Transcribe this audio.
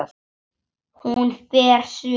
Hún fer suður.